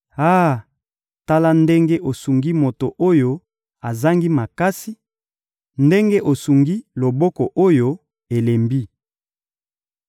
«Ah! Tala ndenge osungi moto oyo azangi makasi, ndenge osungi loboko oyo elembi!